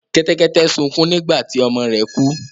Kẹ́tẹ́kẹ́tẹ́ sukún nígbà tí ọmọ rẹ̀ kú.